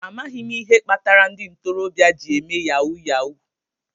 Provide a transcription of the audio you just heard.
Amaghị m ihe kpatara ndị ntorobịa jị eme Yahuu yahuu